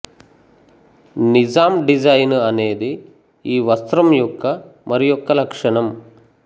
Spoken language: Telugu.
నిజాం డిజైన్ అనేది ఈ వస్త్రం యొక్క మరియొక లక్షణం